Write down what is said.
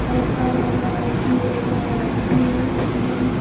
es ar emai tiemi ti em.